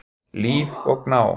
Líf og Gná.